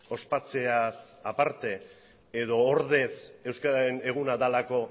ospatzeaz aparte edo ordez euskararen eguna delako